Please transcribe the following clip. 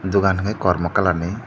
dogan kei kormo colour ni.